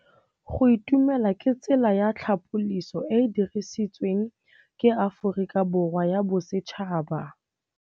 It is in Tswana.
Go itumela ke tsela ya tlhapolisô e e dirisitsweng ke Aforika Borwa ya Bosetšhaba.